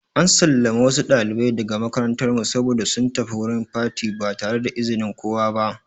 An sallame wasu ɗalibai daga makarantar mu saboda sun tafi wurin fati ba tare da izinin kowa ba.